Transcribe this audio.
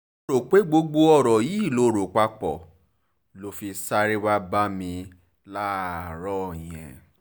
mo rò pé gbogbo oore yìí ló rọ pápọ̀ ló fi sáré wàá bá mi láàárọ̀ yẹn